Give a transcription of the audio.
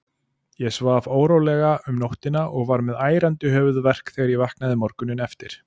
Ég svaf órólega um nóttina og var með ærandi höfuðverk þegar ég vaknaði morguninn eftir.